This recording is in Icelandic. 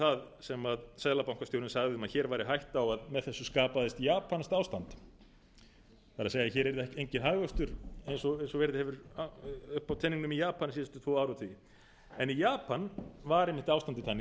það sem seðlabankastjórinn sagði að hér væri hætta á að með þessu skapaðist japanskt ástand það er hér yrði ekki hagvöxtur eins og verið hefur upp á teningnum í japan síðustu tvo áratugi en í japan var einmitt ástandið þannig að þar